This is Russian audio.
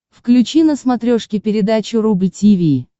включи на смотрешке передачу рубль ти ви